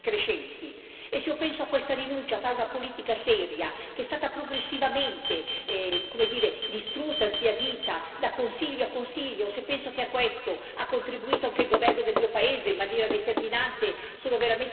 Se penso a questa rinuncia a fare una politica seria, che è stata progressivamente distrutta e sbiadita da Consiglio a Consiglio, se penso che a questo ha contribuito anche il governo del mio paese in maniera determinante, sono veramente sconsolata!